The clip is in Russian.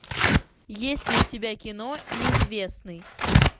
есть ли у тебя кино неизвестный